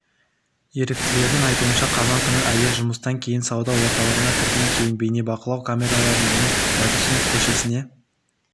еріктілердің айтуынша қазан күні әйел жұмыстан кейін сауда орталығына кірген кейін бейнебақылау камераларынан оның байтұрсынов көшесіне